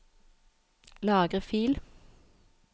Lagre fil